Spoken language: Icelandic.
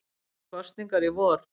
Hann vill kosningar í vor